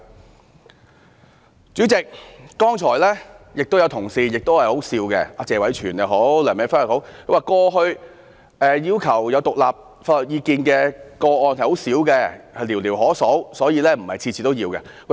代理主席，剛才亦有同事的發言很可笑，不論是謝偉銓議員或梁美芬議員，他們說過去要求有獨立法律意見的個案很少，寥寥可數，所以，不是每次也需要。